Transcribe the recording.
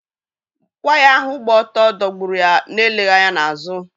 Waya ahụ gbà otú dọ̀gburụ́ ya na-eleghị anya na azụ.